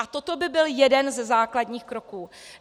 A toto by byl jeden ze základních kroků.